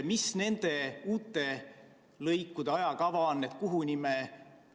Mis nende uute lõikude ajakava on?